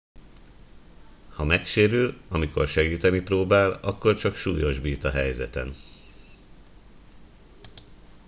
ha megsérül amikor segíteni próbál akkor csak súlyosbít a helyzeten